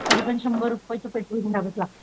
तरीपण शंबर रुपयच पेट्रोल भरावंच लागत.